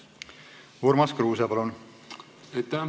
Urmas Kruuse, palun!